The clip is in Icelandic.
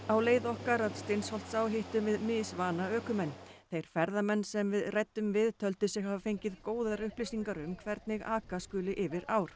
á leið okkar að Steinsholtsá hittum við ökumenn þeir ferðamenn sem við ræddum við töldu sig hafa fengið góðar upplýsingar um hvernig aka skuli yfir ár